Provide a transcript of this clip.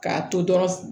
K'a to dɔrɔn